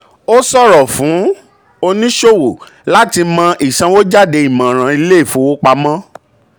ó ṣòro fún oníṣòwò láti mọ ìsanwójáde ìmọ̀ràn ilé ìfowopamọ́.